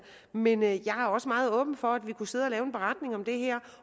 men jeg er også meget åben over for at vi kunne sidde og lave en beretning om det her